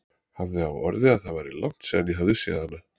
Hafði á orði að það væri langt síðan ég hefði séð hana.